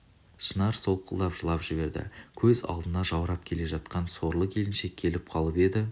шынар солқылдап жылап жіберді көз алдына жаурап келе жатқан сорлы келіншек келе қалып еді